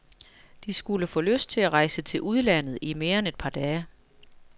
De skulle få lyst til at rejse til udlandet i mere end et par dage.